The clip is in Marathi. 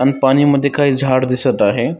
आणि पाणीमध्ये काय झाड दिसत आहे.